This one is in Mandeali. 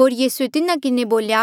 होर यीसूए तिन्हा किन्हें बोल्या